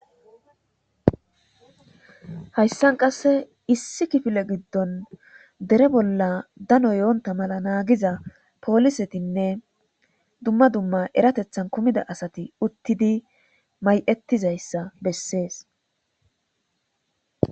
hayssan qasse issi kifile giddon dere bolla dano yoonta mala naagiza poolisetinne dumma dumma eratethan kumida asati uttidi may7ettizayssa bessees